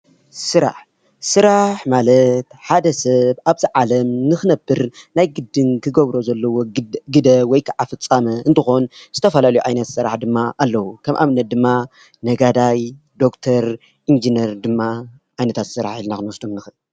ስራሕ:‑ ስራሕ ማለት ሓደ ሰብ አብዚ ዓለም ንክነብር ናይ ግድን ክገብሮ ዘለዎ ግደ ወይ ከዓ ፍፃመ እንትኮን ፤ ዝተፈላለዩ ዓይነት ስራሕ ድማ አለስራሕ ከም አብነት ድማ ነጋዳይ፣ ዶክተር፣ ኢንጅነር ድማ ዓይነታት ስራሕ ኢልና ክንወስዶም ንክእል፡፡